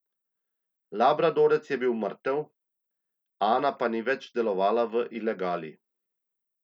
Labradorec je bil mrtev, Ana pa ni več delovala v ilegali.